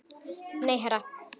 Nei, herra